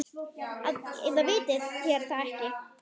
Eða vitið þér það ekki.